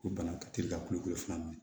Ko bana ka teli ka ku fila ninnu